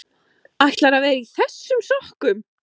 ÆTLARÐU AÐ VERA Í ÞESSUM SOKKUM?